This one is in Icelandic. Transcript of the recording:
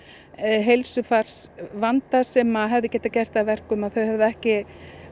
heilsufarsvanda sem að hefði getað gert það að verkum að þau hefðu ekki